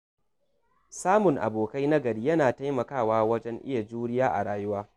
Samun abokai na gari yana taimakawa wajen iya juriya a rayuwa.